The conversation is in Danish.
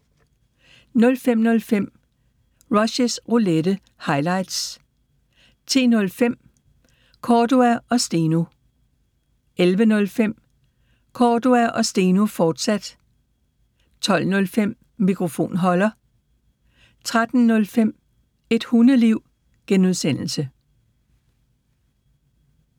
05:05: Rushys Roulette – highlights 10:05: Cordua & Steno 11:05: Cordua & Steno, fortsat 12:05: Mikrofonholder 13:05: Et Hundeliv (G)